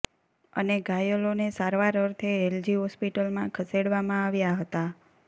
અને ઘાયલોને સારવાર અર્થે એલજી હોસ્પિટલમાં ખસેડવામાં આવ્યા હતા